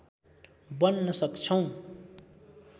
बन्न सक्छौँ